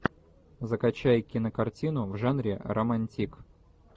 закачай кинокартину в жанре романтик